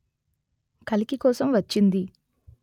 కలికి కోపం వచ్చింది